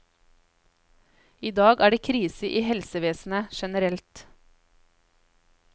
I dag er det krise i helsevesenet generelt.